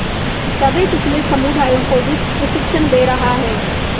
दबेकुचले समुदायों को भी प्रशिक्षण दे रहा है